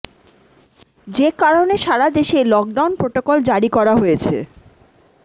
যে কারণে সারা দেশে লকডাউন প্রোটোকল জারি করা হয়েছে